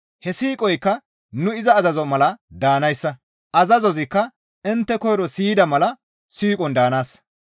He siiqoykka nu iza azazoza mala daanayssa; azazozikka intte koyro siyida mala siiqon daanaassa.